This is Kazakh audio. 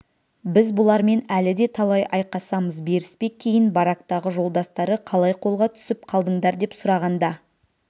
біз бұлармен әлі де талай айқасамыз беріспе кейін барактағы жолдастары қалай қолға түсіп қалдыңдар деп сұрағанда